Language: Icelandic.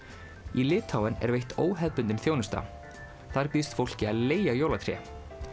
í Litháen er veitt óhefðbundin þjónusta þar býðst fólki að leigja jólatré